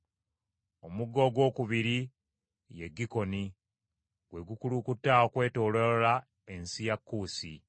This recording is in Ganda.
Omugga ogwokubiri ye Gikoni, gwe gukulukuta okwetooloola ensi ya Kuusi.